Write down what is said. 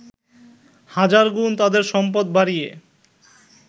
হাজার গুণ তাদের সম্পদ বাড়িয়ে